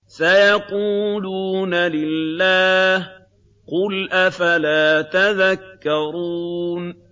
سَيَقُولُونَ لِلَّهِ ۚ قُلْ أَفَلَا تَذَكَّرُونَ